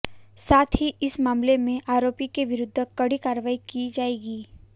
साथ ही इस मामले में आरोपी के विरुद्ध कड़ी कार्रवाई की जाएगी